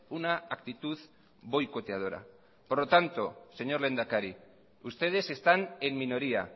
una actitud boicoteadora por lo tanto señor lehendakari ustedes están en minoría